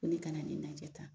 Ko ne kana na ni najɛ tan.